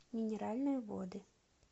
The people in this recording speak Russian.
минеральные воды